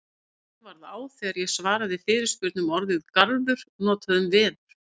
Mér varð á þegar ég svaraði fyrirspurn um orðið garður notað um veður.